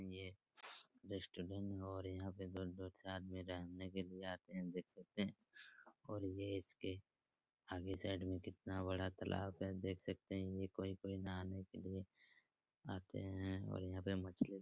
ये रेस्टोरेंट है और यहाँ दूर-दूर से आदमी रहने के लिए आते है देख सकते है और ये इसके आगे साइड में कितना बड़ा तालाब है देख सकते है ये कोई कोई नहाने के लिए आते है और यहाँ पे मछली --